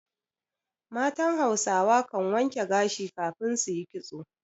Matan Hausawa kan wanke gashi kafin su yi ƙitso.